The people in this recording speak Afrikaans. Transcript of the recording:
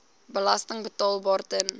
belasting betaalbaar ten